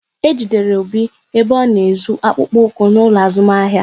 Ejidere Obi ebe ọ na-ezu akpụkpọ ụkwụ n'ụlọ azụmahịa